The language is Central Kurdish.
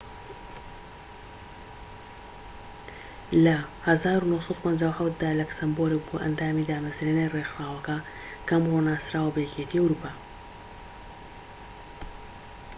لە ١٩٥٧ دا لەکسەمبۆرگ بووە ئەندامی دامەزرێنەری ڕێکخراوەکە کە ئەمڕۆ ناسراوە بە یەکێتی ئەوروپا